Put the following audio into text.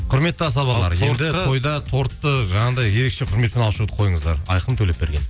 құрметті асабалар енді тойда тортты жаңағыдай ерекше құрметпен алып шығуды қойыңыздар айқын төлепберген